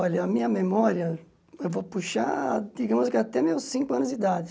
Olha, a minha memória, eu vou puxar, digamos que até meus cinco anos de idade.